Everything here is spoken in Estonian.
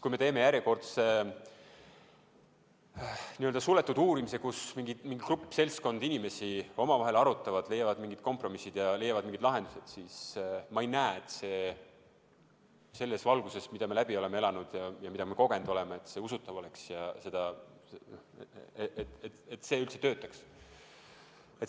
Kui me teeme järjekordse suletud uurimise, kus mingi seltskond inimesi omavahel arutab, leiab mingid kompromissid ja leiab mingid lahendused, siis selles valguses, mida me läbi oleme elanud ja mida me kogenud oleme, ma ei näe, et see usutav oleks ja et see töötaks.